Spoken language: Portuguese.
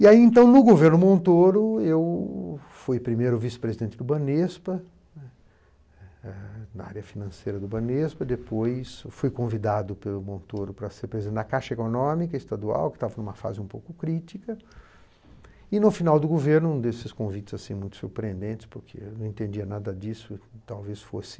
E aí então, no governo Montoro, eu fui primeiro vice-presidente do Banespa, na área financeira do Banespa, depois eu fui convidado pelo Montoro para ser preside a Caixa Econômica Estadual, que estava em uma fase um pouco crítica, e no final do governo, um desses convites muito surpreendentes, porque eu não entendia nada disso, talvez fosse